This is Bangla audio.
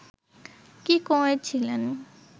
কী করেছিলেন